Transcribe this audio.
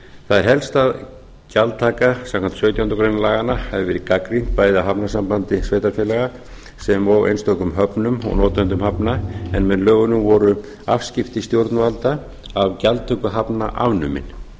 það er helst að gjaldtaka samkvæmt sautjándu grein laganna hafi verið gagnrýnd bæði af hafnasambandi sveitarfélaga sem og einstökum höfnum og notendum hafna en með lögunum voru afskipti stjórnvalda af gjaldtöku hafna afnumin